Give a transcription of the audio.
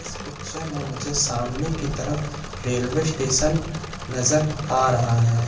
इस पिक्चर में मुझे सामने की तरफ रेलवे स्टेशन नजर आ रहा है।